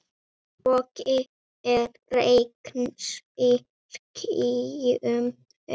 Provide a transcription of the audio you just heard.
Bogi regns í skýjum er.